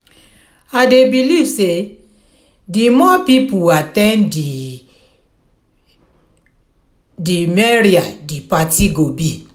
i dey believe say di more people at ten d di merrier di party go be.